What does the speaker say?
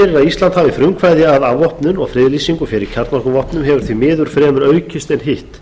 ísland hafi frumkvæði að afvopnun og friðlýsingu fyrir kjarnorkuvopnin hefur því miður fremur aukist en hitt